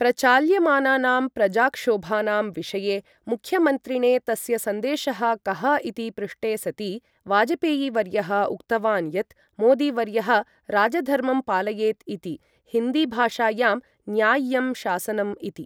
प्रचाल्यमानानां प्रजाक्षोभानां विषये मुख्यमन्त्रिणे तस्य सन्देशः कः इति पृष्टे सति, वाजपेयी वर्यः उक्तवान् यत् मोदी वर्यः राजधर्मं पालयेत् इति, हिन्दी भाषायाम् न्याय्यं शासनम् इति।